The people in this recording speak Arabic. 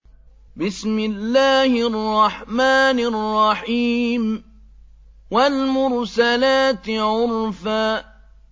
وَالْمُرْسَلَاتِ عُرْفًا